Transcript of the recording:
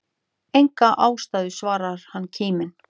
Enga ástæðu svarar hann kíminn.